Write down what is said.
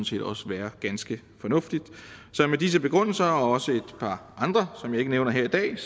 set også være ganske fornuftigt så med disse begrundelser der er også et par andre som jeg ikke nævner her i dag